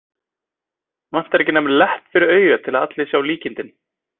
Vantar ekki nema lepp fyrir augað til að allir sjái líkindin.